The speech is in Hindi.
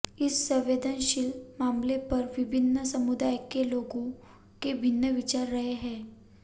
इस संवेदनशील मामले पर विभिन्न समुदाय के लोगों के भिन्न विचार रहे हैं